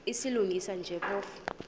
silungisa nje phofu